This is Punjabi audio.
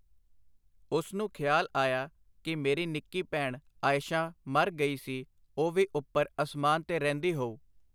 ਉਸਨੂੰ ਖਿਆਲ ਆਇਆ ਕਿ ਮੇਰੀ ਨਿੱਕੀ ਭੈਣ ਆਇਸ਼ਾਂ ਮਰ ਗਈ ਸੀ ਉਹ ਵੀ ਉਪਰ ਅਸਮਾਨ ਤੇ ਰਹਿੰਦੀ ਹੋਊ.